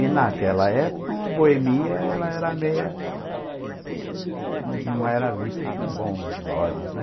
E naquela época, uma boemia, ela era meia... Não era vista com bons olhos, né?